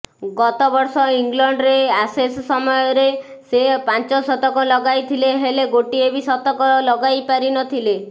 ଗତବର୍ଷ ଇଂଲଣ୍ଡରେ ଆସେସ୍ ସମୟରେ ସେ ପାଞ୍ଚଶତକ ଲଗାଇଥିଲେ ହେଲେ ଗୋଟିଏ ବି ଶତକ ଲଗାଇପାରି ନ ଥିଲେ